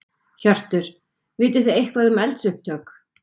Hjörtur: Vitið þið eitthvað um eldsupptök?